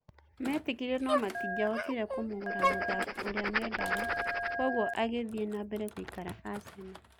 Metĩkĩrire no-matingĩahotire kũmũgũra mũthaki ũrĩa mendaga, kwoguo agĩthiĩ-nambere gũikara Aseno."